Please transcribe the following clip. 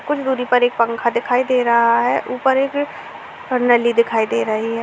कुछ दुरी पर एक पंखा दिखाई दे रहा है। ऊपर एक नली दिखाई दे रही है।